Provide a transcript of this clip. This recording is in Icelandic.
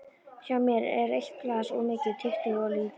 Hjá mér er eitt glas of mikið, tuttugu of lítið.